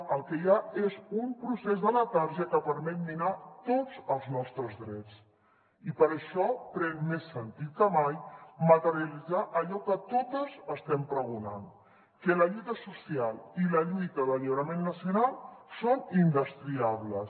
el que hi ha és un procés de letargia que permet minar tots els nostres drets i per això pren més sentit que mai materialitzar allò que totes estem pregonant que la lluita social i la lluita d’alliberament nacional són indestriables